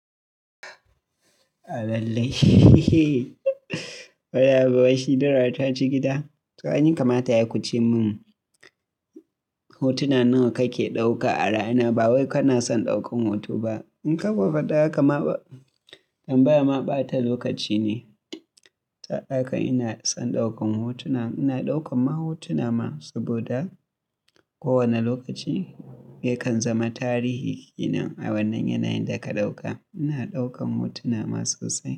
Lallai. Wani abu waishi dara taci gida. To aini kamata yayi kuce mun. Hotuna nawa kake ɗauka a rana? Ba wai kana son ɗaukan hoto ba. In ka fadi haka ma tambaya ma bata lokaci ne. Saboda haka ina son ɗaukan hotuna. Ina ɗaukan ma hotuna ma saboda ko wane lokaci yakan zama tarihi. Ina wannan yanayin da ka ɗauka. Ina ɗaukan hotuna masu sauƙi.